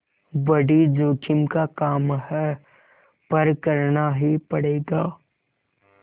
बड़ी जोखिम का काम है पर करना ही पड़ेगा